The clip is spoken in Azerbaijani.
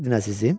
Nə dedin əzizim?